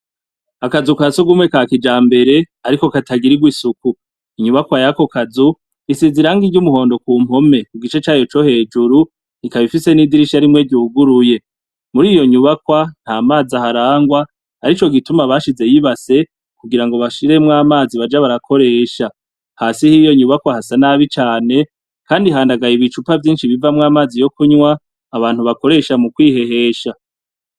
Akazu kasugumwe ka kijambere, ariko katagirirwa isuku, inyubakwa yako kazu, isize irangi ry'umuhondo ku mpome ku gice cayo co hejuru ikaba ifise n'idirisha rimwe ryuguruye. Muriyo nyubakwa, nta mazi aharangwa arico gituma basizeho ibase kugirango bashireymwo amazi baza barakoresha. Hasi yiyo nyubakwa hasa nabi cane Kandi handagaye ibicupa vyinshi bivamwo amazi yo kunwa abantu bakoresha mu kwihehesha.